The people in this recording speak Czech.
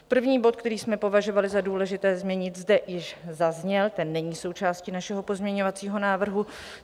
První bod, který jsme považovali za důležité zmínit, zde již zazněl, ten není součástí našeho pozměňovacího návrhu.